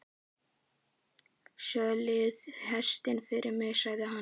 Söðlið hestinn fyrir mig, sagði hann.